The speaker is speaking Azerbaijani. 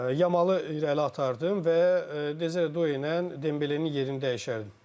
Yamalı irəli atardım və Due ilə Dembelenin yerini dəyişərdim.